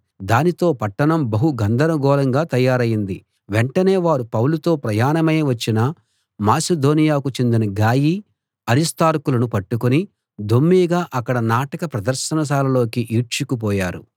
దానితో పట్టణం బహు గందరగోళంగా తయారైంది వెంటనే వారు పౌలుతో ప్రయాణమై వచ్చిన మాసిదోనియాకు చెందిన గాయి అరిస్తార్కులను పట్టుకుని దొమ్మీగా అక్కడి నాటక ప్రదర్శనశాలలోకి ఈడ్చుకు పోయారు